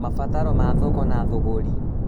Mabataro ma thoko na thũgũrĩ